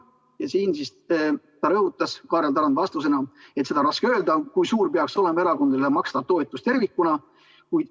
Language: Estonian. Ja siin rõhutas Kaarel Tarand vastusena, et seda on raske öelda, kui suur peaks olema erakondadele makstav toetus tervikuna.